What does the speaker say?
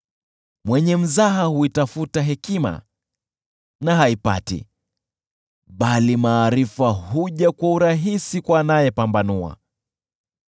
Mwenye mzaha huitafuta hekima na haipati, bali maarifa huja kwa urahisi kwa anayepambanua.